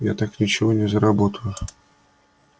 я так ничего не заработаю